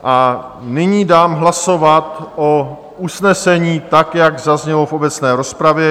A nyní dám hlasovat o usnesení, tak jak zaznělo v obecné rozpravě.